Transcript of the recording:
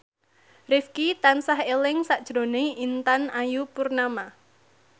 Rifqi tansah eling sakjroning Intan Ayu Purnama